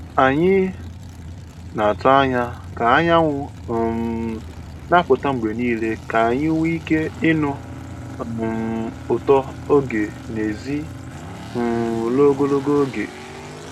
Anyị na-atụ anya ka anyanwụ um na-apụta mgbe niile ka anyị nwee ike ịnụ um ụtọ oge n'èzí um ruo ogologo oge. ogologo oge.